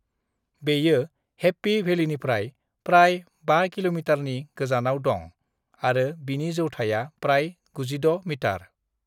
बेयो हैप्पी भेलिनिफ्राय प्राय 5 किल'मितारनि गोजानाव दं आरो बिनि जौथाया प्राय 96 मितार।